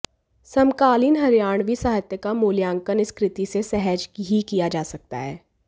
समकालीन हरियाणवी साहित्य का मूल्यांकन इस कृति से सहज ही किया जा सकता है